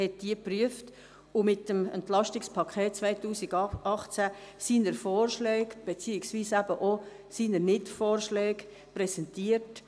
Er hat diese geprüft und mit dem Entlastungspaket 2018 die Vorschläge beziehungsweise seine Nichtvorschläge präsentiert.